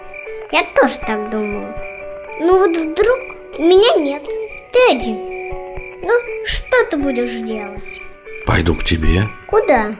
я тоже так думаю ну вот вдруг у меня нет ты один ну что ты будешь делать пойду к тебе куда